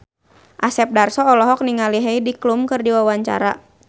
Asep Darso olohok ningali Heidi Klum keur diwawancara